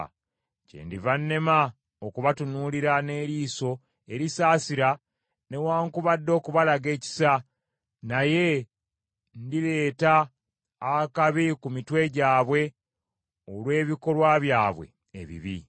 Kyendiva nema okubatunuulira n’eriiso erisaasira newaakubadde okubalaga ekisa, naye ndileeta akabi ku mitwe gyabwe olw’ebikolwa byabwe ebibi.”